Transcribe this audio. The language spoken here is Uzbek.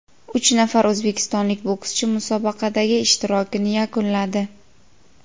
uch nafar o‘zbekistonlik bokschi musobaqadagi ishtirokini yakunladi.